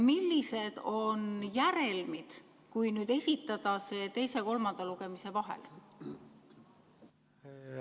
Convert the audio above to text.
Millised on järelmid, kui esitada see teise ja kolmanda lugemise vahel?